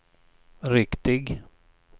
riktig